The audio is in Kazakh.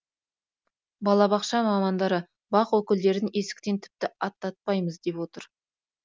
балабақша мамандары бақ өкілдерін есіктен тіпті аттатпаймыз деп отыр